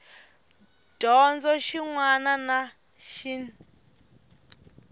dyondzo xin wana na xin